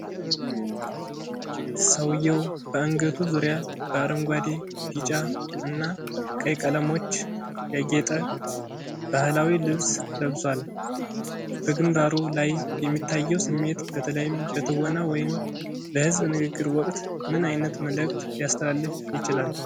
ሰውየው በአንገቱ ዙሪያ በአረንጓዴ፣ ቢጫ እና ቀይ ቀለሞች ያጌጠ ባህላዊ ልብስ ለብሷል። በግንባሩ ላይ የሚታየው ስሜት፣ በተለይም በትወና ወይም በሕዝብ ንግግር ወቅት፣ ምን ዓይነት መልዕክት ሊያስተላልፍ ይችላል?